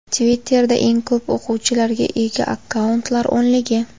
Twitter’da eng ko‘p o‘quvchilarga ega akkauntlar o‘nligi.